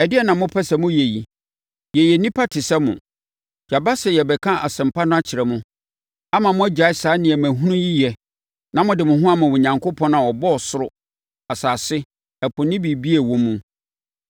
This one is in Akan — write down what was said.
“Ɛdeɛn na mopɛ sɛ moyɛ yi? Yɛyɛ nnipa te sɛ mo! Yɛaba sɛ yɛrebɛka asɛmpa no akyerɛ mo, ama moagyae saa nneɛma hunu yi yɛ, na mode mo ho ama Onyankopɔn a ɔbɔɔ ɔsoro, asase, ɛpo ne biribiara a ɛwɔ mu.